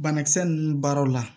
Banakisɛ ninnu baaraw la